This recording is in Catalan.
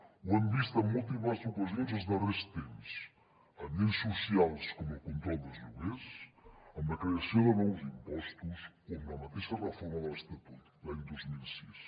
ho hem vist en múltiples ocasions els darrers temps en lleis socials com la del control dels lloguers amb la creació de nous impostos o amb la mateixa reforma de l’estatut l’any dos mil sis